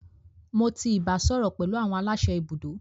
Mo ti ibasọrọ pẹlu awọn alase ibudo.